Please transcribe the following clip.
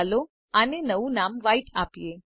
ચાલો આને નવું નામ વ્હાઇટ આપીએ